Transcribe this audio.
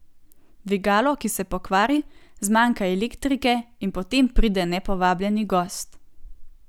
Dvigalo, ki se pokvari, zmanjka elektrike in potem pride nepovabljeni gost ...